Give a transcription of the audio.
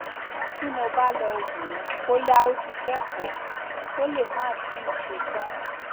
tí mo bá lọ wò ó bóyá ó ti kẹkọọ ó lè máà tíì ṣe tán